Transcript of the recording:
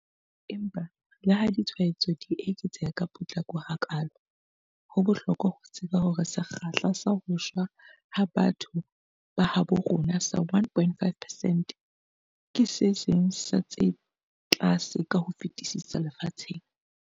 Empa leha ditshwaetso di eketseha ka potlako hakaalo, ho bohlokwa ho tseba hore sekgahla sa ho shwa ha batho ba habo rona sa 1.5 percent ke se seng sa tse tlase ka ho fetisisa lefatsheng.